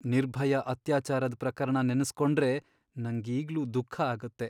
ನಿರ್ಭಯಾ ಅತ್ಯಾಚಾರದ್ ಪ್ರಕರಣ ನೆನ್ಸ್ಕೊಂಡ್ರೆ ನಂಗೀಗ್ಲೂ ದುಃಖ ಆಗುತ್ತೆ.